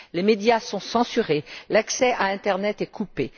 Les médias sont censurés, l'accès à internet est coupé.